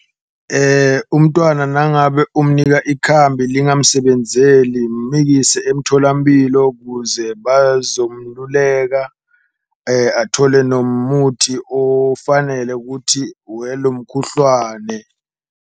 Umntwana nangabe umnika ikhambi lingamsebenzeli mikise emtholampilo kuze bazomluleka, athole nomuthi ofanele kuthi welo mkhuhlwane.